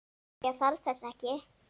Ég þarf þess ekki.